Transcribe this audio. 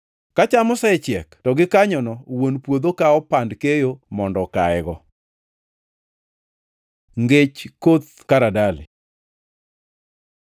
Ka cham osechiek to gikanyono wuon puodho kawo pand keyo mondo okayego.” Ngech koth karadali